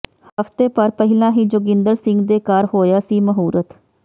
ਹਫਤੇ ਭਰ ਪਹਿਲਾ ਹੀ ਜੋਗਿੰਦਰ ਸਿੰਘ ਦੇ ਘਰ ਹੋਇਆ ਸੀ ਮਹੂਰਤ